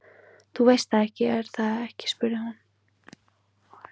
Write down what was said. Þú veist það, er það ekki spurði hún.